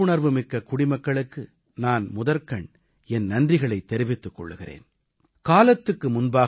இப்படிப்பட்ட விழிப்புணர்வு மிக்க குடிமக்களுக்கு நான் முதற்கண் என் நன்றிகளைத் தெரிவித்துக் கொள்கிறேன்